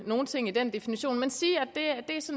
nogen ting i den definition men sige